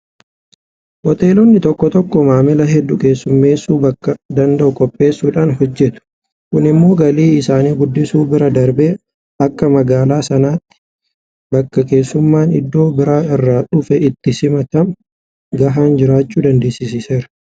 Hoteelonni tokko tokko maamila hedduu keessummeessuu bakka danda'u qopheessuudhaan hojjetu. Kun immoo galii isaanii guddisuu bira darbee akka magaalaa sanaatti bakka keessummaan iddoo biraa irraa dhufe itti simatamu gahaan jiraachuu dandeessiseera.